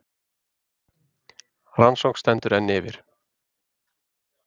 Rannsókn stendur enn yfir